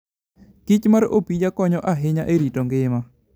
kichmar opija konyo ahinya e rito ngima.